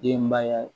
Denbaya